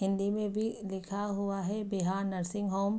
हिंदी में भी लिखा हुआ है बिहार नर्सिंग होम ।